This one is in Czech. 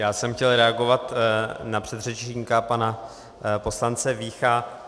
Já jsem chtěl reagovat na předřečníka, pana poslance Vícha.